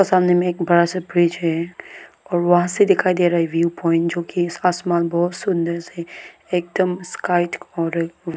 सामने में एक बड़ा सा ब्रिज है और वहां से दिखाई दे रहा है व्यू प्वाइंट जो कि आसमान बहुत सुंदर सी एकदम स्काई ऊ --